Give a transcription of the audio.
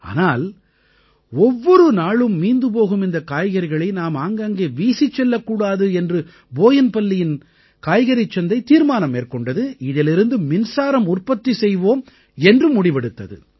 ஆனால் ஒவ்வொரு நாளும் மீந்து போகும் இந்தக் காய்கறிகளை நாம் ஆங்காங்கே வீசிச் செல்லக்கூடாது என்று போயின்பல்லியின் காய்கறிச் சந்தை தீர்மானம் மேற்கொண்டது இதிலிருந்து மின்சாரம் உற்பத்தி செய்வோம் என்று முடிவெடுத்தது